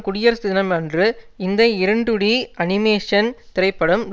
குடியரசு தினம் அன்று இந்த இரண்டுடி அனிமேஷன் திரைப்படம்